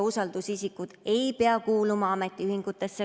Usaldusisikud ei pea kuuluma ametiühingusse.